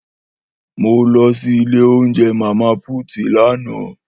Mó lõsí ìlé ounjé Mama puti làánõ